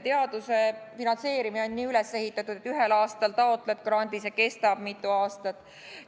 Teaduse finantseerimine on nii üles ehitatud, et ühel aastal taotled grandi, see kestab aga mitu aastat.